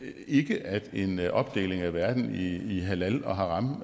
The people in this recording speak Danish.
ikke at en opdeling af verden i i halal og haram